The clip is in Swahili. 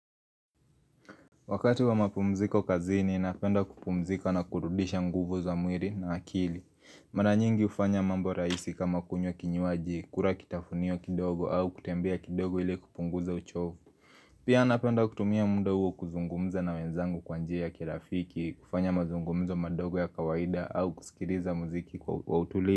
Wakati wa mapumziko kazini, napenda kupumzika na kurudisha nguvu za mwili na akili Mara nyingi hufanya mambo rahisi kama kunywa kinywaji, kula kitafunio kidogo au kutembea kidogo ili kupunguza uchovu Pia napenda kutumia mda huo kuzungumza na wenzangu kwa njia ya kirafiki, kufanya mazungumzo madogo ya kawaida au kusikiliza muziki kwa utuli.